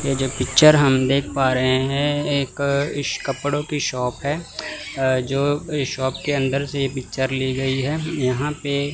ये जो पिक्चर हम देख पा रहे हैं एक इस कपड़ों की शॉप है अह अह जो इस शॉप के अंदर से ये पिक्चर ली गई है यहां पे--